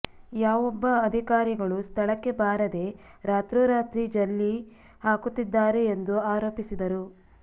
ಯಾವೊಬ್ಬ ಅದಿಕಾರಿಗಳು ಸ್ಥಳಕ್ಕೆ ಬಾರದೇ ರಾತ್ರೋರಾತ್ರಿ ಜಲ್ಲಿ ಹಾಕುತ್ತಿದ್ದಾರೆ ಎಂದು ಆರೋಪಿಸಿದರು